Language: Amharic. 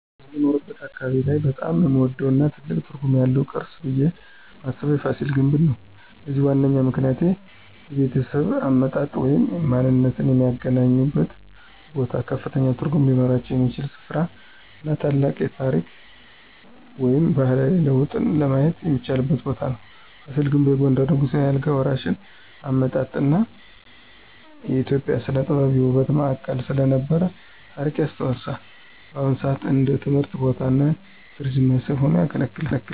በምኖርበት አካባቢ ላይ በጣም የምወደው እና ትልቅ ትርጉም ያለው ቅርስ ብየ ማስበው የፋሲል ግንብ ነው። ለዚህም ዋነኛ ምክንያቶች -የቤተሰብ አመጣጥ ወይም ማንነትዎ የሚገናኙበት ቦታዎች ከፍተኛ ትርጉም ሊኖራቸው የሚችል ሥፍራ እና ታላቅ የታሪክ ወይም ባህላዊ ለውጥን ለማየት የሚቻልበት ቦታ ነው። ፋሲል ግንብ የጎንደርን ንጉሳዊ የአልጋ ወራሽ አመጣጥ እና የኢትዮጵያ ሥነ-ጥበብ የውበት ማዕከል ስለነበረ ታሪክ ያስታውሳል። በአሁን ሰአት እንደ ትምህርት ቦታ እና የቱሪስት መስህብ ሆኖ ያገለግላል።